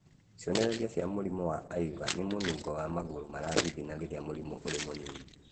Cionereria cia mũrimũ wa IVA nĩ mũnungo wa magũrũ marathigina rĩrĩa mũrimũ ũrĩ mũnini